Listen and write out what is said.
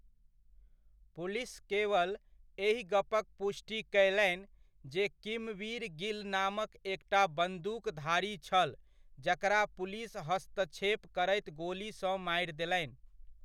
Police केवल एहि गपक पुष्टि कयलनि, जे किमवीर गिल नामक एकटा बंदूकधारी छल जकरा पुलिस हस्तक्षेप करैत गोलीसँ मारि देलनि।